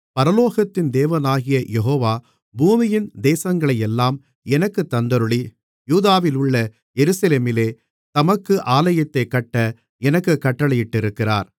பரலோகத்தின் தேவனாகிய யெகோவா பூமியின் தேசங்களையெல்லாம் எனக்குத் தந்தருளி யூதாவிலுள்ள எருசலேமிலே தமக்கு ஆலயத்தைக் கட்ட எனக்குக் கட்டளையிட்டிருக்கிறார்